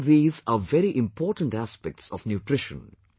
All these are very important aspects of Nutrition